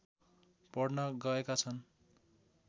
पढ्न गएका छन्